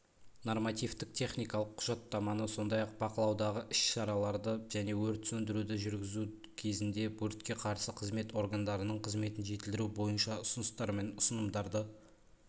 нормативтік-техникалық құжаттаманы сондай-ақ бақылаудағы іс-шараларды және өрт сондіруді жүргізу кезінде өртке қарсы қызмет органдарының қызметін жетілдіру бойынша ұсыныстар мен ұсынымдарды